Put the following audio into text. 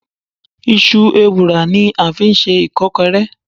Isú èwurá ní a ń fí sẹ ikọkọré